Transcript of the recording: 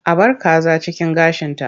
A bar kaza cikin gashinta.